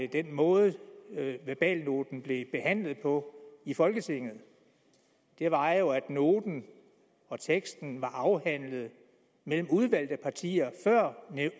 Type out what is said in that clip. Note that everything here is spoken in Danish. den måde verbalnoten blev behandlet på i folketinget og det var at noten og teksten var afhandlet mellem udvalgte partier før